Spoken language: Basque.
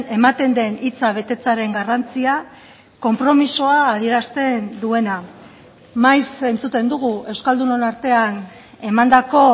ematen den hitza betetzearen garrantzia konpromisoa adierazten duena maiz entzuten dugu euskaldunon artean emandako